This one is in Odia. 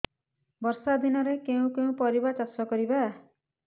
ବର୍ଷା ଦିନରେ କେଉଁ କେଉଁ ପରିବା ଚାଷ କରିବା